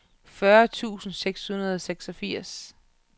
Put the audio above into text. fyrre tusind seks hundrede og seksogfirs